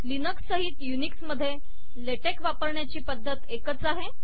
Linux सहीत Unix मधे LaTeX वापरण्याची पद्धत एकच आहे